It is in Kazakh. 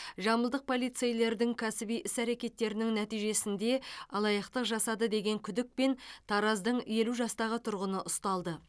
жамбылдық полицейлердің кәсіби іс әрекеттерінің нәтижесінде алаяқтық жасады деген күдікпен тараздың елу жастағы тұрғыны ұсталды